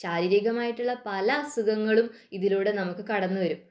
ശാരീരികമായിട്ടുള്ള പല അസുഖകങ്ങളും ഇതിലൂടെ നമുക്ക് കടന്നു വരും